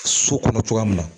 So kɔnɔ cogoya min na